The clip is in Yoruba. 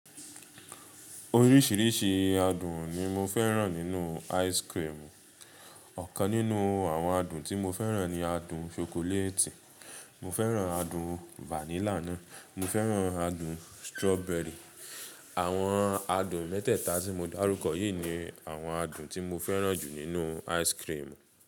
Oríṣìíríṣìí adùn ni mo fẹ́ràn nínú ice cream. Ọ̀kan nínú àwọn adùn tí mo fẹ́ràn ni adùn ṣokoléètì, mo fẹ́ràn adùn vanilla náà, mo fẹ́ràn adùn strawberry. Àwọn adùn mẹ́tẹ̀ẹ̀ta tí mo dárúkọ yìí ni àwọn adùn tí mo fẹ́ràn jù nínú ice cream.